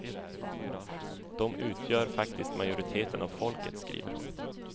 De utgör faktiskt majoriteten av folket, skriver hon.